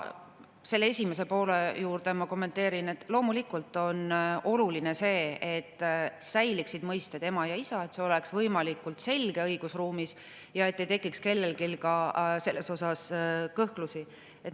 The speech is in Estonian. Küsimuse esimest poolt ma kommenteerin nii, et loomulikult on oluline see, et säiliksid mõisted "ema" ja "isa", et see oleks õigusruumis võimalikult selge ja kellelgi ei tekiks selles kõhklusi.